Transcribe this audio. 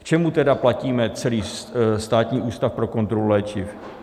K čemu tedy platíme celý Státní ústav pro kontrolu léčiv?